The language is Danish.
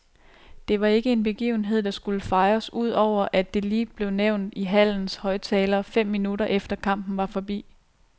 Det var ikke en begivenhed, der skulle fejres udover at det lige blev nævnt i hallens højttalere fem minutter efter kampen var forbi.